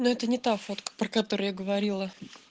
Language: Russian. но это не та фотка про которую я говорила